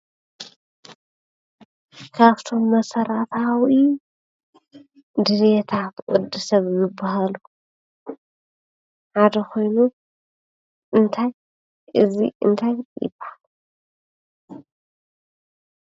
ካብቶም መሰረታዊ ድልየታት ወዲ ሰብ ዝባሃሉ ሓደ ኮይኑ እንታይ እዚ እንታይ ይባሃል፡፡